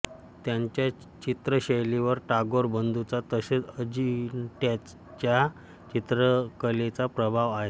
त्यांच्या चित्रशैलीवर टागोर बंधूंचा तसेच अजिंठ्याच्या चित्रकलेचा प्रभाव आहे